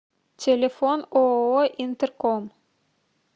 телефон ооо интерком